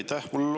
Aitäh!